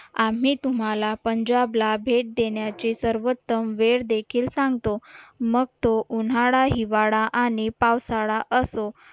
आम्ही तुम्हाला पंजाबला भेट देण्याचे सर्वोत्तम वेळ देखील सांगतो मग तो उन्हाळा हिवाळा आणि पावसाळा असो